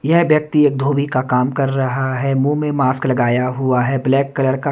यह व्यक्ति एक धोबी का काम कर रहा है। मुंह में मास्क लगाया हुआ है ब्लैक कलर का।